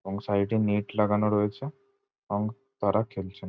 এবং সাইড -এ নেট লাগানো রয়েছে এবং তারা খেলছে।